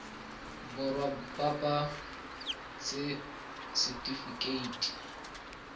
borwa ba ba ts setifikeite